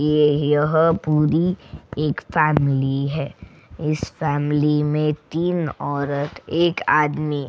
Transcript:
ये यहां पूरी एक फैमिली है इस फैमिली में तीन औरत एक आदमी --